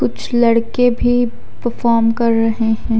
कुछ लड़के भी पफॉर्म कर रहे है।